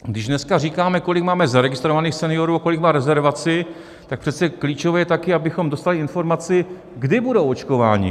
Když dneska říkáme, kolik máme zaregistrovaných seniorů a kolik má rezervaci, tak přece klíčové je také, abychom dostali informaci, kdy budou očkováni.